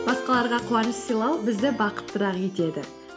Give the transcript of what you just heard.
басқаларға қуаныш сыйлау бізді бақыттырақ етеді